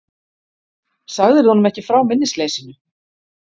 Sagðirðu honum ekki frá minnisleysinu?